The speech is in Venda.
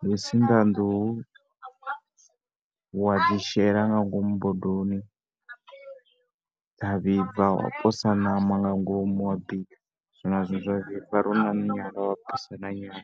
ndi u sinḓa nḓuhu wa dzi shela nga ngomu bodoni, dza vhibva wa posa ṋama nga ngomu wa bika. Zwino a zwi vhi zwa dina kana u na nyala wa posela nyala.